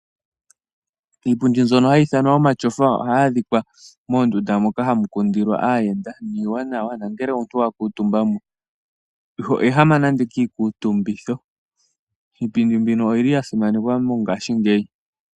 Iipundi mbyono hayi ithanwa omashofa ohayi adhikwa moondunda moka hamu kundilwa aayenda, niiwanawa no ngele omuntu wa kuutumba mo iho ehama, nande kiikutumbitho. Iipundi mbino oyi li ya simanekwa mongashingeyi.